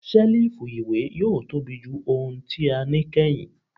Selifu iwe yoo tobi ju ohun ti a ni kẹhin